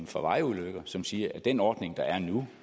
for vejtrafikulykker som siger at den ordning der er nu